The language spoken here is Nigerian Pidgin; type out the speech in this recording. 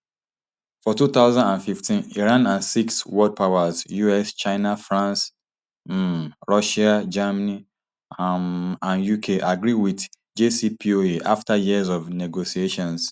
for two thousand and fifteen iran and six world powers us china france um russia germany um and uk agree wit jcpoa afta years of negotiations